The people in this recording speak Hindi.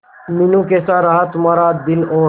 मीनू कैसा रहा तुम्हारा दिन और